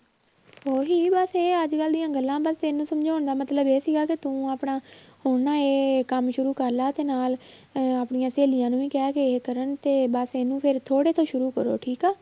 ਉਹੀ ਬਸ ਇਹ ਅੱਜ ਕੱਲ੍ਹ ਦੀਆਂ ਗੱਲਾਂ ਬਸ ਤੈਨੂੰ ਸਮਝਾਉਣ ਦਾ ਮਤਲਬ ਇਹ ਸੀਗਾ ਕਿ ਤੂੰ ਆਪਣਾ ਹੁਣ ਨਾ ਇਹ ਕੰਮ ਸ਼ੁਰੂ ਕਰ ਲਾ ਤੇ ਨਾਲ ਅਹ ਆਪਣੀਆਂ ਸਹੇਲੀਆਂ ਨੂੰ ਵੀ ਕਹਿ ਕਿ ਇਹ ਕਰਨ ਤੇ ਬਸ ਇਹਨੂੰ ਫਿਰ ਥੋੜ੍ਹੇ ਤੋਂ ਸ਼ੁਰੂ ਕਰੋ ਠੀਕ ਆ।